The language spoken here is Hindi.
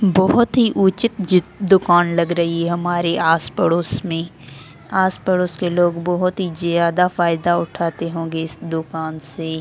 बहुत ही उचित दुकान लग रही है हमारे आस-पड़ोस में आस-पड़ोस के लोग बहुत ही ज्यादा फायदा उठाते होंगे इस दुकान से --